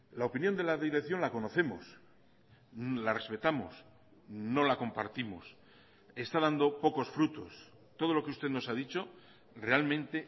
la opinión de la dirección la conocemos la respetamos no la compartimos está dando pocos frutos todo lo que usted nos ha dicho realmente